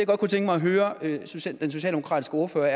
godt kunne tænke mig at høre den socialdemokratiske ordfører